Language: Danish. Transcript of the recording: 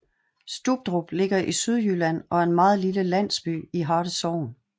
Stubdrup ligger i Sydjylland og er en meget lille landsby i Harte Sogn